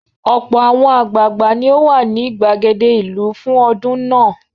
Ọ̀pọ̀ àwọn àgbàgbà ni ó wà ní ìgbàgede ìlú fún ọdún náà.